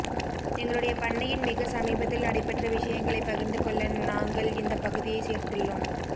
எங்களுடைய பண்ணையின் மிக சமீபத்தில் நடைப்பெற்ற விஷயங்களை பகிர்ந்து கொள்ள நங்கள் இந்த பகுதியை சேர்த்துள்ளோம்